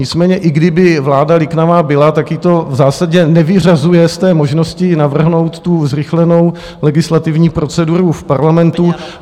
Nicméně i kdyby vláda liknavá byla, tak ji to v zásadě nevyřazuje z té možnosti navrhnout tu zrychlenou legislativní proceduru v parlamentu.